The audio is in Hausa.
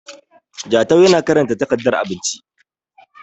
Jatau yana karanta takardar abinci